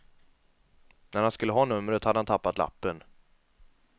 När han skulle ha numret hade han tappat lappen.